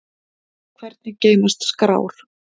Hvernig geymast skrár?